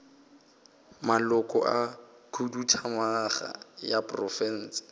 maloko a khuduthamaga ya profense